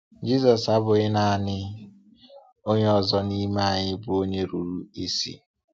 Jisọs abụghị naanị onye ọzọ n’ime anyị bụ onye rụrụ isi.